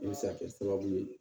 I bɛ se kɛ sababu ye